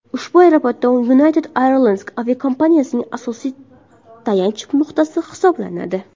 Ushbu aeroport United Airlines aviakompaniyasining asosiy tayanch nuqtasi hisoblanadi.